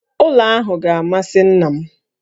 Ụlọ ahụ ga-amasị nna m